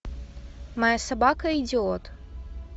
моя собака идиот